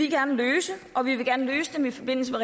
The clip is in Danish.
gerne løse og vi vil gerne løse det i forbindelse